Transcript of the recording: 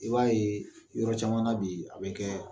I b'a ye yɔrɔ caman bi , a bɛ kɛ